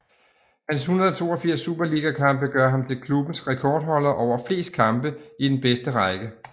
Hans 182 superligakampe gør ham til klubbens rekordholder over flest kampe i den bedste række